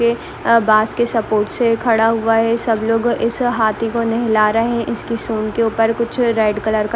आ बांस के सपोर्ट से खड़ा हुआ है सब लोग इस हाथी को नहला रहा है इसके सूंड़ के ऊपर कुछ रेड कलर के ---